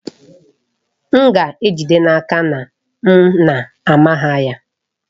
M ga-ejide n'aka na m na-ama ha ya.